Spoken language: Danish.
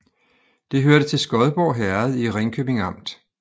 Det hørte til Skodborg Herred i Ringkøbing Amt